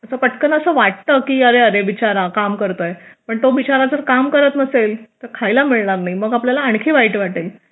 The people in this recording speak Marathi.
असं पटकन असं वाटतं की अरे अरे बिचारा काम करतोय पण तो बिचारा जर काम करत नसेल तर खायला मिळणार नाही मग आपल्याला आणखीन वाईट वाटेल